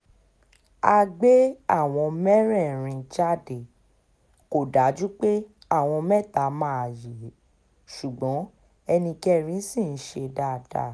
a gbé àwọn mẹ́rẹ̀ẹ̀rin jáde kò dájú pé àwọn mẹ́ta máa yé e ṣùgbọ́n ẹnì kẹrin ṣì ń ṣe dáadáa